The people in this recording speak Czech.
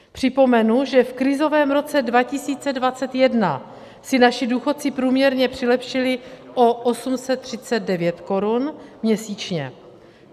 Připomenu, že v krizovém roce 2021 si naši důchodci průměrně přilepšili o 839 korun měsíčně.